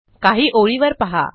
काही ओळी वर पहा